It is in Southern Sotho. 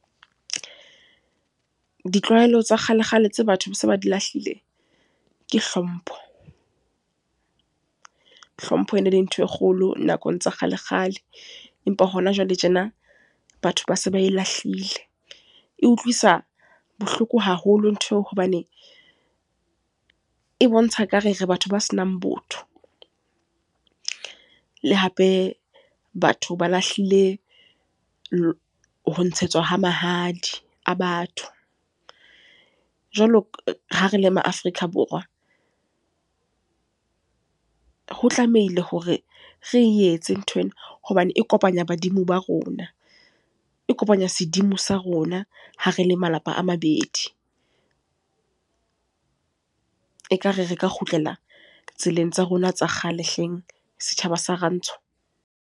Ditlwaelo tsa kgale kgale tse batho ba se ba di lahlile, ke hlompho. Hlompho e ne le ntho e kgolo nakong tsa kgale kgale. Empa hona jwale tjena, batho ba se ba e lahlile. E utlwisa bohloko haholo ntho eo hobane, e bontsha ekare re batho ba senang botho. Le hape, batho ba lahlile ho ntshetswa mahadi, a batho. Jwalo ha re le ma Afrika Borwa, ho tlamehile hore re e etse nthwena. Hobane e kopanya badimo ba rona, e kopanya sedimo sa rona, ha re le malapa a mabedi. Ekare re ka kgutlela tseleng tsa rona tsa kgale hleng, setjhaba sa Rantsho.